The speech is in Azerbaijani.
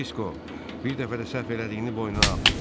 Disko, bir dəfə də səhv elədiyini boynuna al.